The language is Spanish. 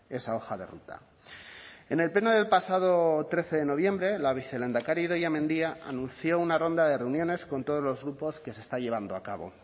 esa hoja de ruta en el pleno del pasado trece de noviembre la vicelehendakari idoia mendia anunció una ronda de reuniones con todos los grupos que se está llevando a cabo